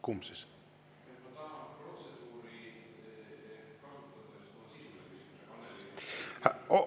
Kumb siis?